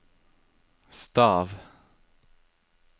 stav